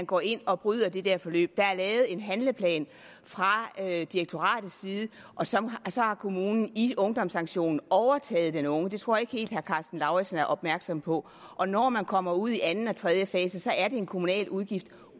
går ind og bryder det der forløb der er lavet en handleplan fra direktoratets side og så så har kommunen i ungdomssanktionen overtaget den unge det tror jeg ikke helt at herre karsten lauritzen er opmærksom på og når man kommer ud i anden og tredje fase så er det en kommunal udgift